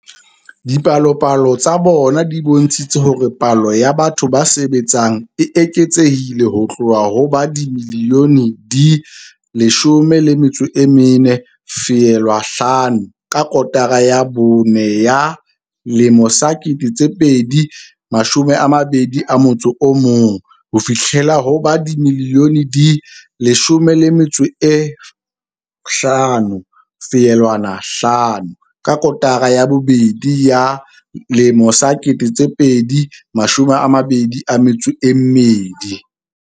Dipalopalo tsa bona di bontshitse hore palo ya batho ba sebetsang e eketsehile ho tloha ho ba dimilione di 14.5 ka kotara ya bone ya 2021 ho fihlela ho ba dimilione di 15.5 ka kotara ya bobedi ya 2022.